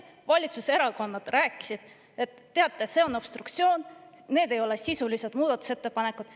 Valitsuserakonnad rääkisid, et teate, see on obstruktsioon, need ei ole sisulised muudatusettepanekud.